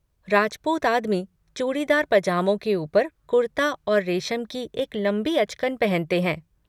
राजपूत आदमी, चूड़ीदार पजामों के ऊपर कुर्ता और रेशम की एक लंबी अचकन पहनते हैं।